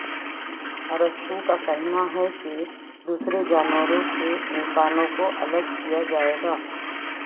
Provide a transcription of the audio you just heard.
ارسطو کا کہنا ہے کہ دوسرے جانوروں سے انسانوں کو الگ کیا جائے گا